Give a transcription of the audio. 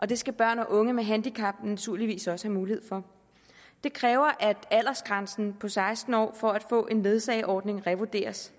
det skal børn og unge med handicap naturligvis også have mulighed for det kræver at aldersgrænsen på seksten år for at få en ledsageordning revurderes